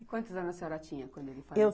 E quantos anos a senhora tinha quando ele